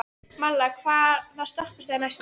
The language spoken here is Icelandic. Malla, hvaða stoppistöð er næst mér?